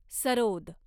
sarod